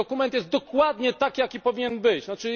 Ten dokument jest dokładnie taki, jaki powinien być, tzn.